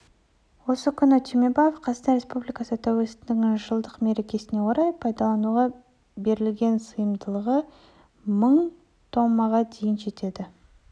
осы күні түймебаев қазақстан республикасы тәуелсіздігінің жылдық мерекесіне орай пайдалануға берілген сыйымдылығы мың томға дейін жететін